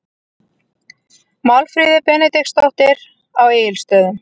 Málfríður Benediktsdóttir á Egilsstöðum